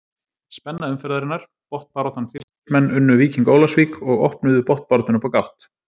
Spenna umferðarinnar: Botnbaráttan Fylkismenn unnu Víking Ólafsvík og opnuðu botnbaráttuna upp á gátt.